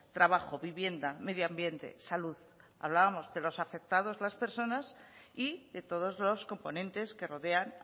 trabajo vivienda medio ambiente salud hablamos de los afectados las personas y de todos los componentes que rodean